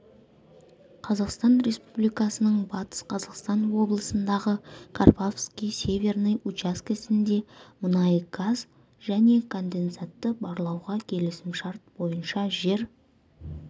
қазақстан республикасының батыс қазақстан облысындағы карповский северный учаскесінде мұнай газ және конденсатты барлауға келісімшарт бойынша жер